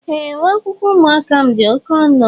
Ee, uwe akwụkwọ ụmụaka m dị oké ọnụ